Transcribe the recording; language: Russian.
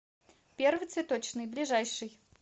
первый цветочный ближайший